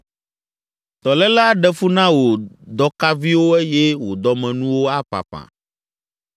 Dɔléle, aɖe fu na wò dɔkaviwo eye wò dɔmenuwo aƒaƒã.”